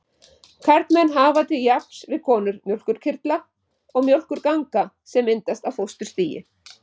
Karlmenn hafa til jafns við konur mjólkurkirtla og mjólkurganga sem myndast á fósturstigi.